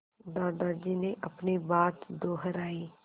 दादाजी ने अपनी बात दोहराई